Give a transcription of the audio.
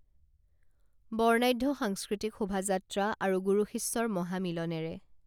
বৰ্ণাঢ্য সাংস্কৃতিক শোভাযাত্ৰা আৰু গুৰু শিষ্যৰ মহামিলনেৰে